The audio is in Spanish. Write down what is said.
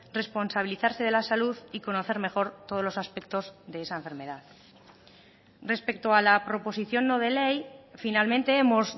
responsabilizarse de la salud y conocer mejor todos los aspectos de esa enfermedad respecto a la proposición no de ley finalmente hemos